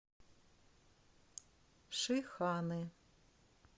шиханы